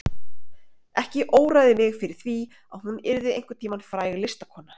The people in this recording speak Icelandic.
Ekki óraði mig fyrir því að hún yrði einhvern tíma fræg listakona.